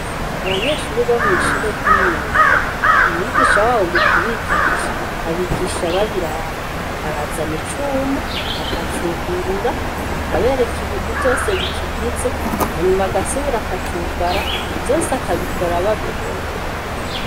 Abanyeshure bo mw'ishure ry'imyuga, umwigisha wabo mu kubigisha, abigisha babiraba. Arazana icuma, akacugurura, akabereka ibintu vyose bikigize hanyuma agasubira akacugara, vyose akabikora babibona.